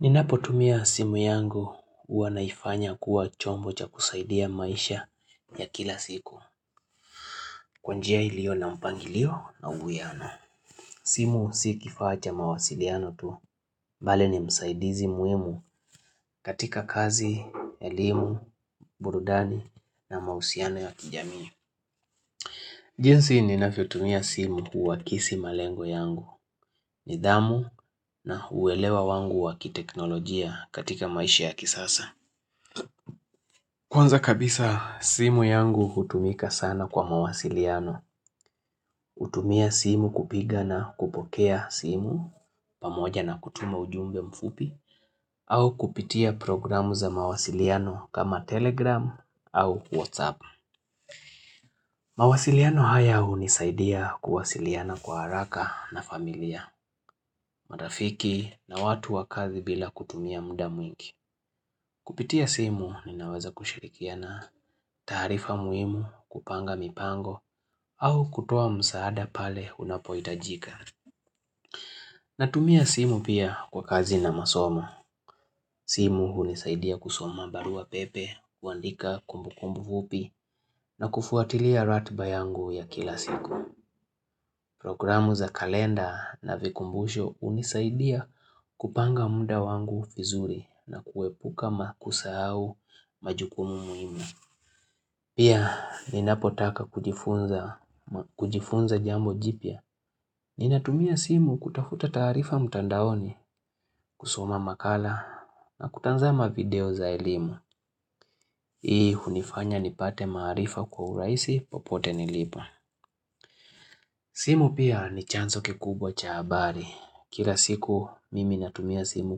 Ninapotumia simu yangu huwa naifanya kuwa chombo cha kusaidia maisha ya kila siku. Kwa njia ilio na mpangilio na uwiano. Simu si kifaa cha mawasiliano tu. Vale ni msaidizi muhimu katika kazi, elimu, burudani na mahusiano ya kijami. Jinsi ninavyo tumia simu huakisi malengo yangu. Nidhamu na uwelewa wangu wa kiteknolojia katika maisha ya kisasa. Kwanza kabisa simu yangu hutumika sana kwa mawasiliano hutumia simu kupiga na kupokea simu pamoja na kutuma ujumbe mfupi au kupitia programu za mawasiliano kama telegram au whatsapp mawasiliano haya hunisaidia kuwasiliana kwa haraka na familia marafiki na watu wa kazi bila kutumia muda mwingi Kupitia simu ninaweza kushirikiana taarifa muhimu kupanga mipango au kutoa msaada pale unapohitajika. Natumia simu pia kwa kazi na masomo. Simu hunisaidia kusoma barua pepe, kuandika kumbu kumbu fupi na kufuatilia ratiba yangu ya kila siku. Programu za kalenda na vikumbusho hunisaidia kupanga muda wangu vizuri na kuepuka makosa au majukumu muhimu. Pia ninapotaka kujifunza jambo jipya, ninatumia simu kutafuta taarifa mtandaoni kusoma makala na kutazama video za elimu, hii hunifanya nipate maarifa kwa urahisi popote nilipo. Simu pia ni chanzo kikubwa cha habari, kila siku mimi natumia simu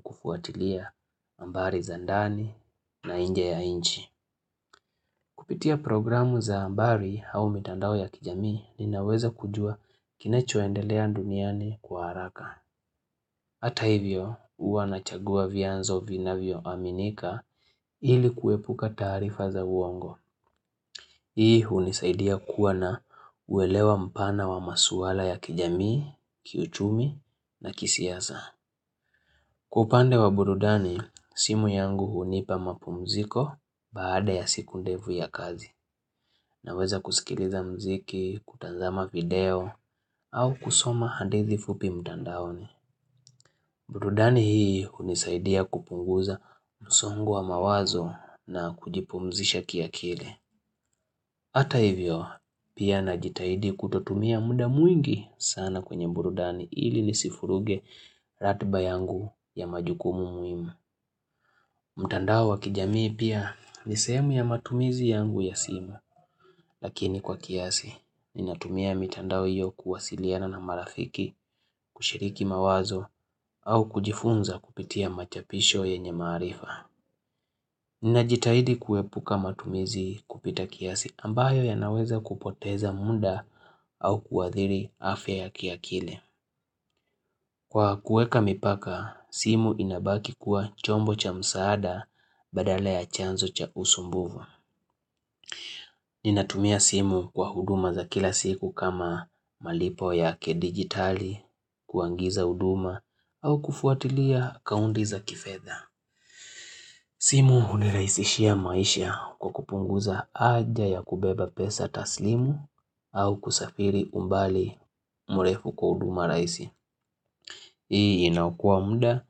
kufuatilia habari za ndani na nje ya nchi. Kupitia programu za habari au mitandao ya kijamii ninaweza kujua kinachoendelea duniani kwa haraka. Hata hivyo hua nachagua vyanzo vinavyo aminika ili kuepuka taarifa za uongo. Hii hunisaidia kuwa na uwelewa mpana wa maswala ya kijamii, kiuchumi na kisiasa. Kwa upande wa burudani, simu yangu hunipa mapumziko baada ya siku ndefu ya kazi. Naweza kusikiliza mziki, kutazama video, au kusoma hadithi fupi mtandaoni. Burudani hii hunisaidia kupunguza msongo wa mawazo na kujipumzisha kiakili. Hata hivyo, pia najitaidi kutotumia muda mwingi sana kwenye burudani ili nisivuruge ratiba yangu ya majukumu muhimu. Mtandao wa kijamii pia nisehemu ya matumizi yangu ya simu, lakini kwa kiasi, ninatumia mitandao hiyo kuwasiliana na marafiki, kushiriki mawazo, au kujifunza kupitia machapisho yenye maarifa. Ninajitahidi kuepuka matumizi kupita kiasi ambayo yanaweza kupoteza muda au kuathiri afya ya kiakili. Kwa kuweka mipaka, simu inabaki kuwa chombo cha msaada badala ya chanzo cha usumbufu. Ninatumia simu kwa huduma za kila siku kama malipo ya kidigitali, kuagiza huduma, au kufuatilia akaunti za kifedha. Simu hunirahisishia maisha kwa kupunguza haja ya kubeba pesa taslimu au kusafiri umbali mrefu kwa huduma rahisi. Hii inakua muda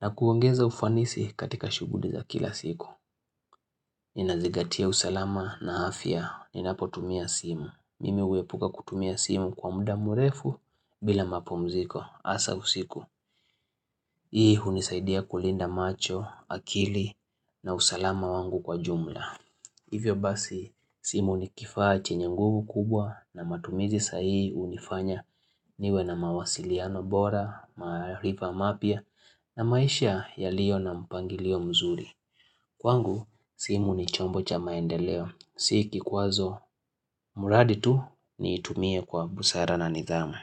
na kuongeza ufanisi katika shughuli za kila siku. Ninazigatia usalama na afya ninapotumia simu. Mimi huepuka kutumia simu kwa muda mrefu bila mapumziko hasa usiku Hii hunisaidia kulinda macho, akili na usalama wangu kwa jumla Hivyo basi simu ni kifaa chenye nguvu kubwa na matumizi sa hii hunifanya niwe na mawasiliano bora, maarifa mapya na maisha yaliyo na mpangilio mzuri Kwangu simu ni chombo cha maendeleo Si kikwazo mradi tu niitumie kwa busara na nidhamu.